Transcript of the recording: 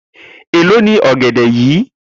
Elo ni ọgẹdẹ yìí?